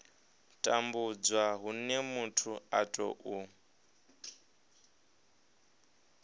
tambudzwa hune muthu a tou